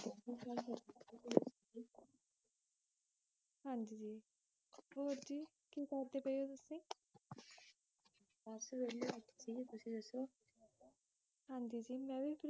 ਹਾਂਜੀ ਜੀ ਹੋਰ ਜੀ ਕੀ ਕਰਦੇ ਪਏ ਉ ਤੁਸੀ ਬੱਸ ਵਹਿਲੇ ਬੈਠੇ ਸੀ ਤੁਸੀ ਦਸੋਂ ਹਾਜੀ ਜੀ ਮੈਂ ਵੀ